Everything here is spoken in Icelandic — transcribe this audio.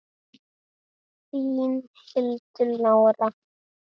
Þín, Hildur Lára.